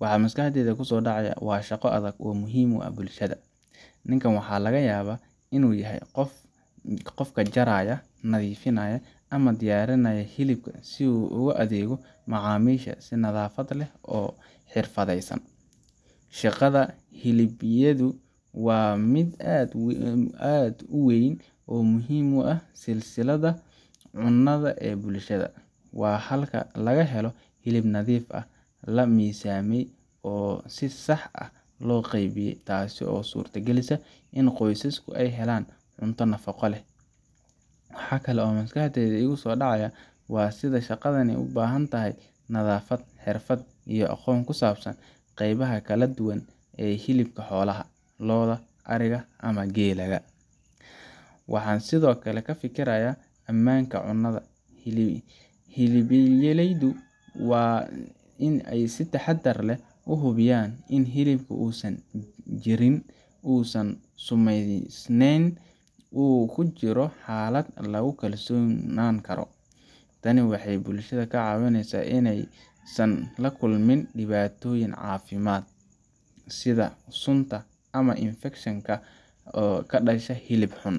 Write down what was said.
waxa maskaxdayda kusoo dhacaya waa shaqo adag oo muhiim u ah bulshada. Ninkan waxaa laga yaabaa inuu yahay qofka jaraya, nadiifinaya, ama diyaarinaya hilibka si uu ugu adeego macaamiisha si nadaafad leh oo xirfadeysan. Shaqada hilibleydu waa mid aad u weyn oo muhiim u ah silsiladda cunnada ee bulshada. Waa halka laga helo hilib nadiif ah, la miisaamay, oo si sax ah loo qaybiyey, taasoo suurta gelisa in qoysaska ay helaan cunto nafaqo leh. Waxa kale oo maskaxda igu soo dhacaya waa sida shaqadani u baahan tahay nadaafad, xirfad, iyo aqoon ku saabsan qeybaha kala duwan ee hilibka xoolaha lo’da, ariga, ama geela ga. Waxaan sidoo kale ka fikirayaa ammaanka cunnada hilibleydu waa in ay si taxaddar leh u hubiyaan in hilibku uusan jirin, uusan sumaysnayn, oo uu ku jiro xaalad lagu kalsoonaan karo. Tani waxay bulshada ka caawisaa in aysan la kulmin dhibaatooyin caafimaad sida sunta ama infekshan ka ka dhasha hilib xun.